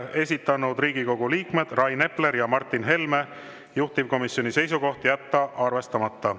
Esitanud Riigikogu liikmed Rain Epler ja Martin Helme, juhtivkomisjoni seisukoht: jätta arvestamata.